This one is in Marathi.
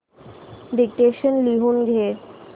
डिक्टेशन लिहून घे